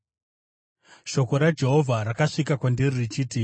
Shoko raJehovha rakasvika kwandiri richiti,